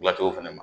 Laturu fana ma